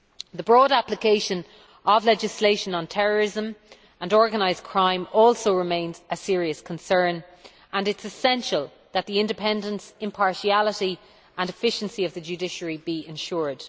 The broad application of legislation on terrorism and organised crime also remains a serious concern, and it is essential that the independence, impartiality and efficiency of the judiciary be ensured.